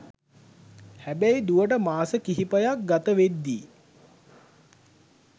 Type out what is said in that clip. හැබැයි දුවට මාස කිහිපයක් ගතවෙද්දී